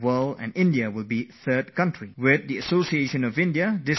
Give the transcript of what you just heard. This process is going to gain fresh momentum and strength with India joining hands with others